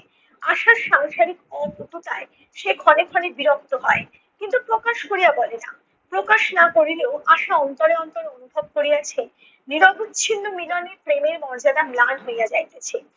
আশার সাংসারিক অপটুওতায় সে ক্ষণে ক্ষণে বিরক্ত হয়। কিন্তু প্রকাশ করিয়া বলে না। প্রকাশ না করিলেও আশা অন্তরে অন্তরে অনুভব করিয়াছে বিবাহ বিচ্ছিন্ন মিলনের প্রেমের মর্যাদা ম্লান হইয়া যাইতেছে।